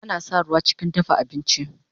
Ana sa ruwa chikin dafa abinchi